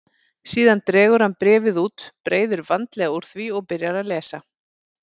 Síðan dregur hann bréfið út, breiðir vandlega úr því og byrjar að lesa.